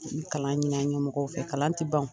Kalan ɲinin an ɲɛmɔgɔw fɛ kalan tɛ ban.